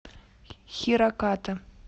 хираката